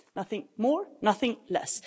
Nothing more, nothing less.